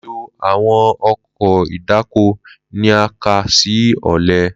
Lilo awọn ọkọ̀ ìdáko ni a kà si ọlẹ.